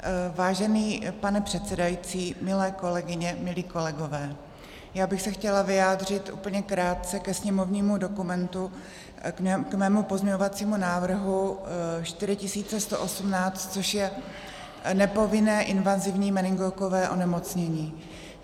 Vážený pane předsedající, milé kolegyně, milí kolegové, já bych se chtěla vyjádřit úplně krátce ke sněmovnímu dokumentu, k svému pozměňovacímu návrhu 4118, což je nepovinné invazivní meningokové onemocnění.